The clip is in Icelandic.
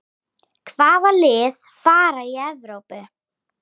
Hvaða lið fara í Evrópu?